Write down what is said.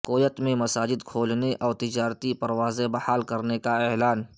Kuwait میں مساجد کھولنے اور تجارتی پروازیں بحال کرنے کا اعلان